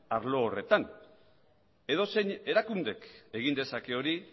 arlo horretan edozein erakundek egin dezake hori